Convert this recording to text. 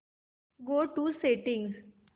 go to settings